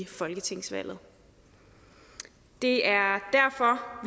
folketingsvalget det er derfor